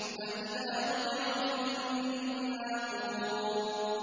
فَإِذَا نُقِرَ فِي النَّاقُورِ